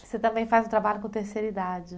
Você também faz o trabalho com terceira idade.